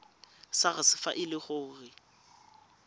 sars fa e le gore